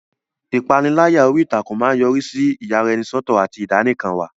Ìpániláyà orí ìtàkùn máa ń yọrí sí ìyaraẹnisọ́tọ̀ àti ìdánìkanwà.